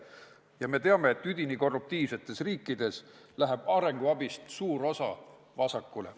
Ja me teame, et üdini korruptiivsetes riikides läheb arenguabist suur osa vasakule.